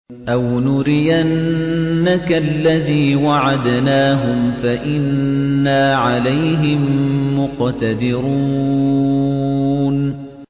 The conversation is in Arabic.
أَوْ نُرِيَنَّكَ الَّذِي وَعَدْنَاهُمْ فَإِنَّا عَلَيْهِم مُّقْتَدِرُونَ